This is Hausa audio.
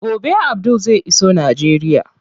Gobe Abdul zai iso Najeriya.